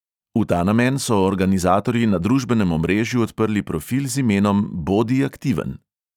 V ta namen so organizatorji na družbenem omrežju odprli profil z imenom bodi aktiven.